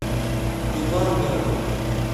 ивангороду